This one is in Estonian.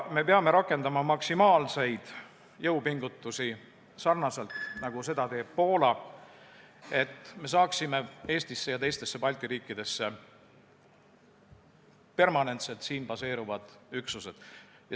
Me peame rakendama maksimaalseid jõupingutusi, nagu seda teeb Poola, et me saaksime Eestisse ja teistesse Balti riikidesse permanentselt siin baseeruvad üksused.